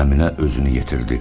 Əminə özünü yetirdi.